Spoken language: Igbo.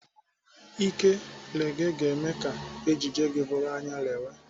Ike gele ga-eme ka ejiji gị bụrụ anyalewe